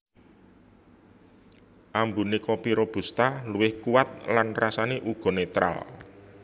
Ambuné kopi robusta luwih kuwat lan rasané uga netral